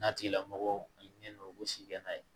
N'a tigilamɔgɔ ɲinɛna o si kɛ n'a ye